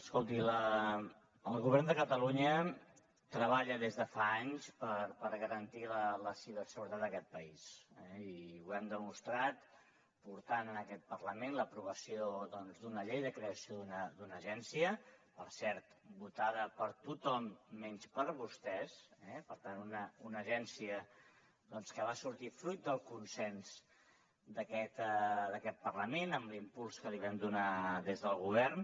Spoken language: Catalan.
escolti el govern de catalunya treballa des de fa anys per garantir la ciberseguretat en aquest país i ho hem demostrat portant a aquest parlament l’aprovació d’una llei de creació d’una agència per cert votada per tothom menys per vostès eh per tant una agència doncs que va sortir fruit del consens d’aquest parlament amb l’impuls que li vam donar des del govern